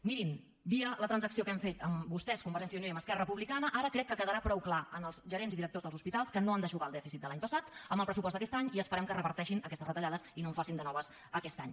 mirin via la transacció que hem fet amb vostès amb convergència i unió i esquerra republicana ara crec que quedarà prou clar als gerents i directors dels hospitals que no han d’eixugar el dèficit de l’any passat amb el pressupost d’aquest any i esperem que reverteixin aquestes retallades i no en facin de noves aquest any